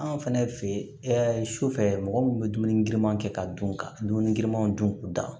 Anw fɛnɛ fe ye sufɛ mɔgɔ min bɛ dumuni giriman kɛ ka dun ka dumuni girinmanw dun k'u dan